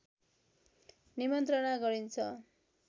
निमन्त्रणा गरिन्छ